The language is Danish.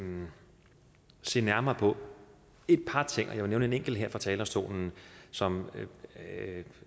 se nærmere på et par ting og jeg vil nævne en enkelt her fra talerstolen som